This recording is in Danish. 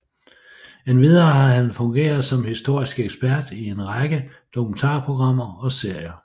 Endvidere har han fungeret som historisk ekspert i en række dokumentarprogrammer og serier